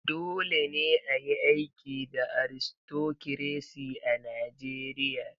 Dole ne a yi aiki da Aristokiresi a Najeriya.